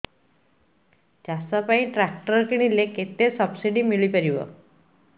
ଚାଷ ପାଇଁ ଟ୍ରାକ୍ଟର କିଣିଲେ କେତେ ସବ୍ସିଡି ମିଳିପାରିବ